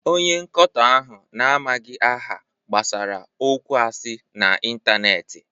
Onye nkoto ahụ na-amaghị aha gbasara okwu asị n'ịntanetị.